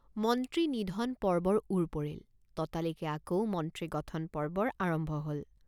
মন্ত্ৰী নিধন পৰ্বৰ ওৰ পৰিল। ততালিকে আকৌ মন্ত্ৰী গঠন পৰ্বৰ আৰম্ভ হল।